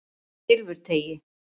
Silfurteigi